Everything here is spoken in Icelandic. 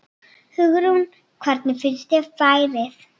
Hugrún: Hvernig finnst þér færið?